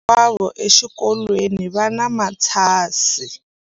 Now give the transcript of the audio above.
Vana hinkwavo exikolweni va na matshansi.